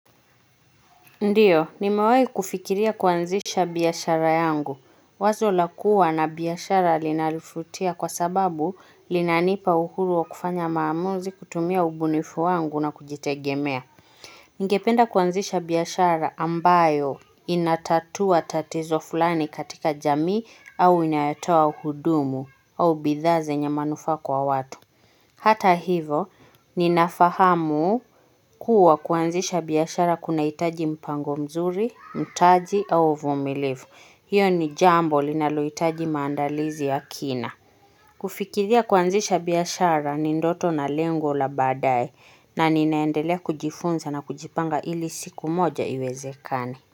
Ndiyo, nimewai kufikiria kuanzisha biashara yangu. Wazo lakua na biashara linalivutia kwa sababu linanipa uhuru wa kufanya maamuzi kutumia ubunifu wangu na kujitegemea. Ningependa kuanzisha biashara ambayo inatatua tatizo fulani katika jamii au inayotoa hudumu au bidhaa zenye manufaa kwa watu. Hata hivo, ninafahamu kuwa kuanzisha biashara kuna hitaji mpango mzuri, mtaji au uvumilivu. Hiyo ni jambo linalohitaji maandalizi ya kina. Kufikiria kuanzisha biashara ni ndoto na lengo la baadaye na ninaendelea kujifunza na kujipanga ili siku moja iwezekane.